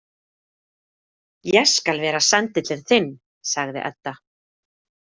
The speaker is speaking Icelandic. Ég skal vera sendillinn þinn, sagði Edda.